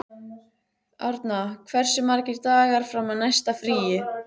Árna, hversu margir dagar fram að næsta fríi?